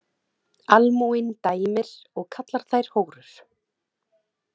Almúginn dæmir og kallar þær hórur.